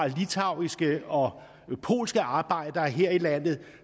litauiske og polske arbejdere her i landet og